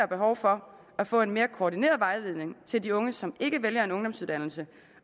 behov for at få en mere koordineret vejledning til de unge som ikke vælger en ungdomsuddannelse